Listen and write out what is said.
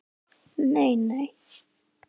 Nei nei.